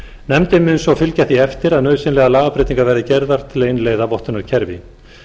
nefndin mun svo fylgja því eftir að nauðsynlegar lagabreytingar verði gerðar til að innleiða vottunarkerfi